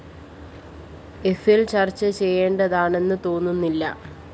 എഫില്‍ ചര്‍ച്ച ചെയ്യേണ്ടതാണെന്ന് തോന്നുന്നില്ല